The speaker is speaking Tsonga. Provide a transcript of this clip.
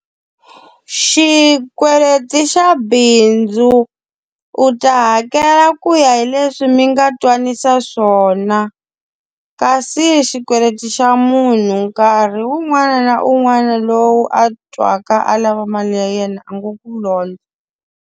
Xikweleti xa bindzu, u ta hakela ku ya hileswi mi nga twananisa swona. Kasi xikweleti xa munhu nkarhi un'wana na un'wana lowu a twaka a lava mali ya yena, a ngo ku londza.